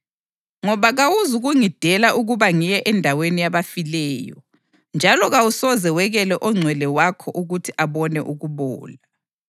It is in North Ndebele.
ngoba kawuzukungidela ukuba ngiye endaweni yabafileyo, njalo kawusoze wekele ongcwele wakho ukuthi abone ukubola.